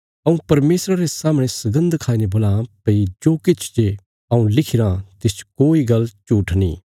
हऊँ परमेशरा रे सामणे सगन्द खाई ने बोलां भई जो किछ जे हऊँ लिखिराँ तिसच कोई गल्ल झूट्ठ नीं